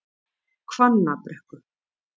Hvannabrekku